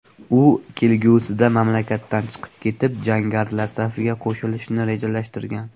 U kelgusida mamlakatdan chiqib ketib, jangarilar safiga qo‘shilishni rejalashtirgan.